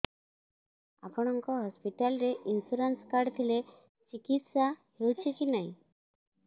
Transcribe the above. ଆପଣଙ୍କ ହସ୍ପିଟାଲ ରେ insurance card ଥିଲେ ଚିକିତ୍ସା ହେଉଛି କି ନାଇଁ